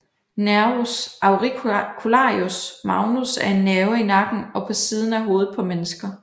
Nervus auricularis magnus er en nerve i nakken og på siden af hovedet på mennesker